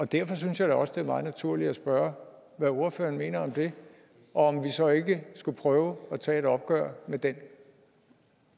derfor synes jeg da også det er meget naturligt at spørge hvad ordføreren mener om det og om vi så ikke skulle prøve at tage et opgør med den